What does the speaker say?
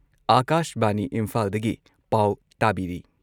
ꯑꯥꯀꯥꯁꯕꯥꯅꯤ ꯏꯝꯐꯥꯜꯗꯒꯤ ꯄꯥꯎ ꯇꯥꯕꯤꯔꯤ